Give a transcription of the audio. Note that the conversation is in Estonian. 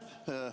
Aitäh!